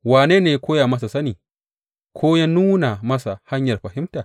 Wane ne ya koya masa sani ko ya nuna masa hanyar fahimta?